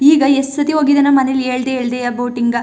ಈಗ ಎಸ್ಟ್ ಸತಿ ಹೋಗಿದನೋ ಮನೇಲಿ ಹೇಳ್ದೆ ಹೇಳ್ದೆಯ ಬೋಟಿಂಗ .